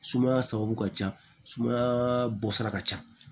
Sumaya sababu ka ca sumaya bɔ sira ka ca